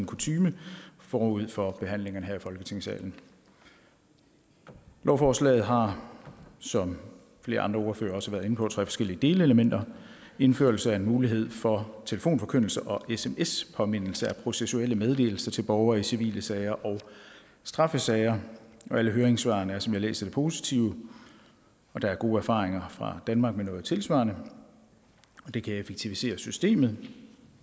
kutyme forud for behandlingerne her i folketingssalen lovforslaget har som flere andre ordførere også har været inde på tre forskellige delelementer indførelse af en mulighed for telefonforkyndelse og sms påmindelse om processuelle meddelelser til borgere i civile sager og straffesager og alle høringssvarene er som jeg læser det positive der er gode erfaringer fra danmark med noget tilsvarende det kan effektivisere systemet